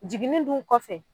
Jigini dun kɔfɛ